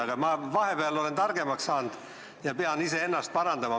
Aga ma olen vahepeal targemaks saanud ja pean iseennast parandama.